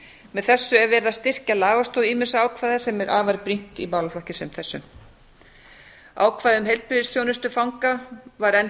með þessu er verið að styrkja lagastoð ýmissa ákvæða sem er afar brýnt í málaflokki sem þessum ákvæði um heilbrigðisþjónustu fanga var enn